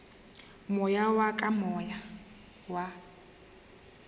moya wa ka moya wa